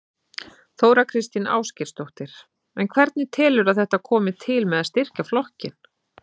Þóra Kristín Ásgeirsdóttir: En hvernig telurðu að þetta komi til með að styrkja flokkinn?